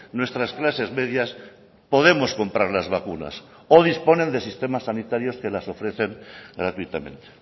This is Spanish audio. nuestras clases medias podemos comprar las vacunas o disponen de sistemas sanitarios que las ofrecen gratuitamente